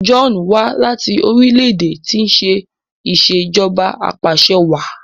John wá láti orílẹ̀-èdè tí ṣe Ìṣèjọba Apàṣẹwàá